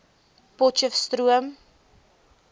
potcheftsroom